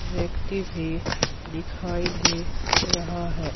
व्यक्ति भी दिखाई दे रहा है।